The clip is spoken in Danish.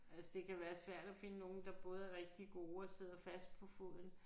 Altså det kan være svært at finde nogle der både er rigtig gode og sidder fast på foden